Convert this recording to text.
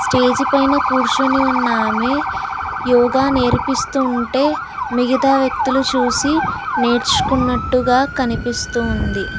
Stage పైన కూర్చుని ఉన్నా ఆమె యోగా నేర్పిస్తూ ఉంటే మిగతా వ్యక్తులు చూసి నేర్చుకున్నట్టుగా కనిపిస్తు ఉంది.